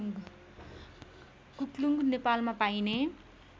कुक्लुङ्ग नेपालमा पाइने